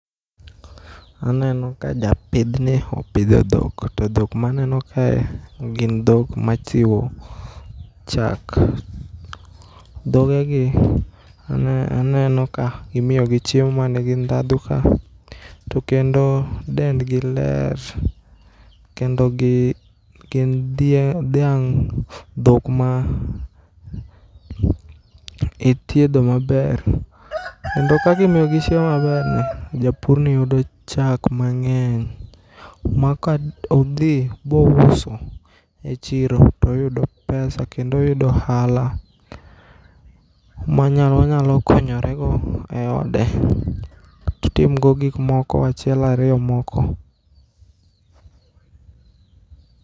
Aneno kajapidhni opidho dhok to dhok maneno kae gin dhok machiwo chak. Dhogegi aneno ka imiyogi chiemo manigi ndhadho ka to kendo dendgi ler kendo gin dhie dhiang' dhok ma ithiedho maber kendo kakimiyogi chiemo maber. Japurni yudo chak mang'eny makaodhi maouso e chiro toyudo pesa kendo oyudo ohala monyalo konyorego eode totimgo gikmoko achiel ariyo moko